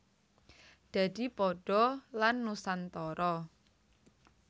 Dadi padha lan Nusantara